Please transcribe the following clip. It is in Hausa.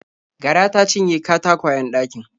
Gara ta cinye katakwayen ɗakin.